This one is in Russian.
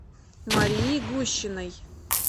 марии гущиной